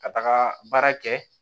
Ka taga baara kɛ